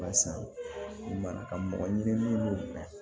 Walasa i mana ka mɔgɔ ɲɛnama